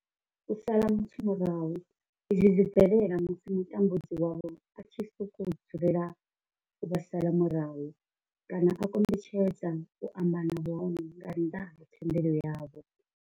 U sala muthu murahu izwi zwi bvelela musi mutambudzi wavho a tshi sokou dzulela u vha sala murahu kana a kombetshedza u amba na vhone nga nnḓa ha thendelo yavho.